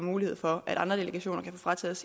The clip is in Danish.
mulighed for at andre delegationer kan få frataget